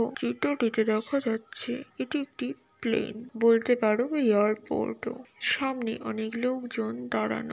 ও চিত্রিটিতে দেখা যাচ্ছে এটি একটি প্লেন বলতে পারো এয়ারপোর্ট ও সামনে অনেক লোকজন দাঁড়ানো।